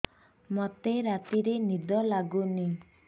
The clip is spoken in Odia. ମୋତେ ରାତିରେ ନିଦ ଲାଗୁନି